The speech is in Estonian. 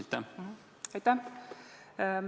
Aitäh!